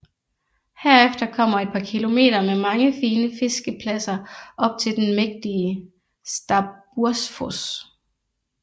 Herefter kommer et par kilometer med mange fine fiskepladser op til den mægtige Stabbursfos